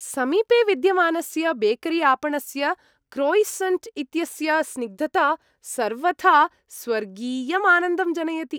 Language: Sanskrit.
समीपे विद्यमानस्य बेकरीआपणस्य क्रोयिसन्ट् इत्यस्य स्निग्धता सर्वथा स्वर्गीयमानन्दं जनयति ।